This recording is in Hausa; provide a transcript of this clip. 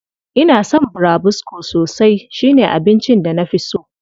Ina son burabusko sosai, shi ne abincin da na fi so.